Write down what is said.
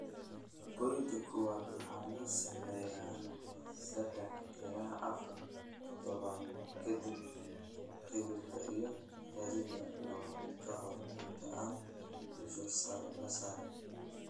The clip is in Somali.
Goynta 1aad waxa la sameeyaa sadah ila afar toddobaad ka dib biqilka iyo jaridda lawaaad ka hor inta aan dusha sare la saarin.